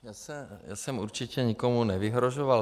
Já jsem určitě nikomu nevyhrožoval.